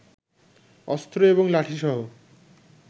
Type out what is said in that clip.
অস্ত্র এবং লাঠিসহ